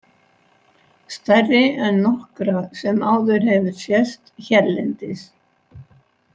Stærri en nokkra sem áður hefur sést hérlendis.